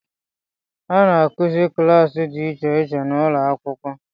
A na-akụzi kilasi di icheiche n’ụlọakwụkwọ